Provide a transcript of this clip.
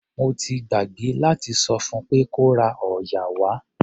Mo ti gbàgbé láti sọ fún pé kó ra òòyà wá.